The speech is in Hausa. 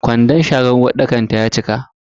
Ƙwandon sharan uwarɗakar ta ya cika.